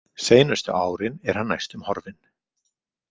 Seinustu árin er hann næstum horfinn.